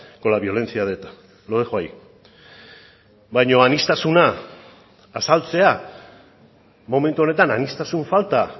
con la violencia de eta lo dejo ahí baina aniztasuna azaltzea momentu honetan aniztasun falta